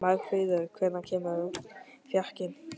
Magnfríður, hvenær kemur fjarkinn?